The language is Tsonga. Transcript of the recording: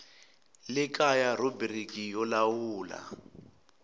le kaya rhubiriki yo lawula